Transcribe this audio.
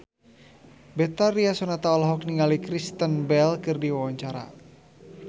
Betharia Sonata olohok ningali Kristen Bell keur diwawancara